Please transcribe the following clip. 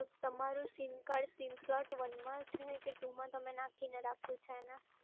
તમારી sim card sim slot one માં છે કે two માં તમે નાખીને રાખ્યું છે.